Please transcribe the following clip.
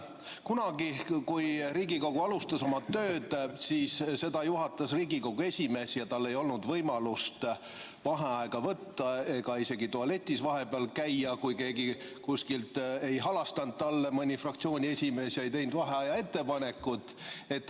Kunagi, kui Riigikogu alustas oma tööd, siis seda juhatas Riigikogu esimees ja tal ei olnud võimalust vaheaega võtta, isegi mitte tualetis vahepeal käia, kui keegi kuskilt ei halastanud talle, mõni fraktsiooni esimees või keegi, ega teinud vaheaja ettepanekut.